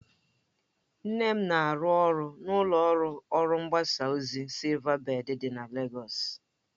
Nne m na-arụ ọrụ na ụlọ ọrụ mgbasa ozi SilvaBèd dị na Legọs